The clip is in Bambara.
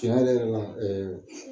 Tiɲɛ yɛrɛ yɛrɛ la